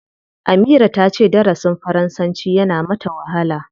Amira ta ce darasin faransanci yana mata wahala.